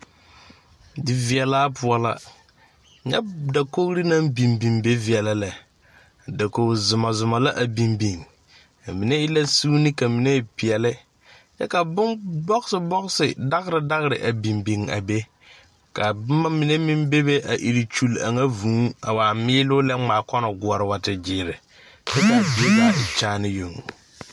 Diveɛlaa poɔ la nyɛ dakogre naŋ biŋ biŋ be veɛlɛ lɛ dakoge zumɔzumɔ la a biŋ biŋ a mine e la suune ka mine e pɛɛle ka bon bɔgse bɔgse dagre dagre a biŋ biŋ a be ka bomma mine meŋ bebe a ire kyure a ŋa vūū a miiloo lɛ ngmaa kɔnɔ gɔɔre wa te gyiire kyɛ kaa zie zaa e kyaanee yoŋ.